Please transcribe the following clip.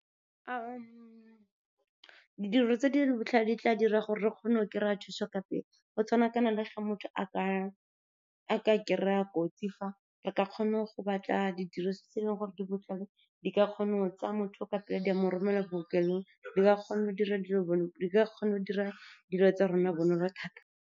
Didiriswa tse di botlhale di tla dira gore re kgone go kry-a thuso ka pele, go tshwanakana le ga motho a ka kry-a kotsi fa, re ka kgona go batla didirisiwa tse e leng gore di botlhale, di ka kgona go tsaya motho o ka pele, di amo romela ko bookelong. Di ka kgona go dira dilo tsa rona bonolo thata.